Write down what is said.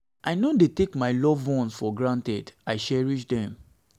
i no dey take my loved ones for granted i cherish dem